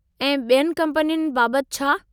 ऐं ॿियनि कम्पनियुनि बाबतु छा?